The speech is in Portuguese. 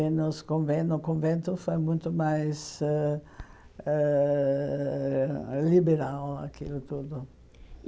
E nos conven no convento foi muito mais ãh ãh liberal aquilo tudo.